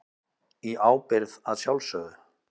Í ábyrgð að sjálfsögðu.